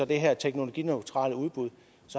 det her teknologineutrale udbud